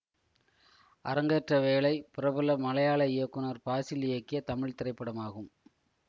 அரங்கேற்ற வேளை பிரபல மலையாள இயக்குனர் பாசில் இயக்கிய தமிழ் திரைப்படமாகும்